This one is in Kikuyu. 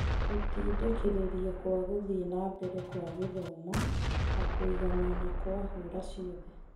Gĩtindĩkĩrĩirie kwa gũthiĩ nambere kwa gĩthomo na kũiganana kwa hũra ciothe